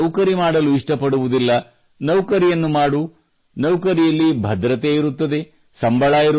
ನೀನೇಕೆ ನೌಕರಿ ಮಾಡಲು ಇಷ್ಟಪಡುವುದಿಲ್ಲ ನೌಕರಿಯನ್ನು ಮಾಡು ನೌಕರಿಯಲ್ಲಿ ಭದ್ರತೆ ಇರುತ್ತದೆ